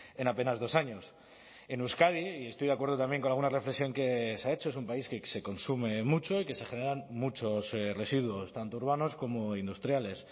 en apenas dos años en euskadi y estoy de acuerdo también con alguna reflexión que se ha hecho es un país que se consume mucho y que se generan muchos residuos tanto urbanos como industriales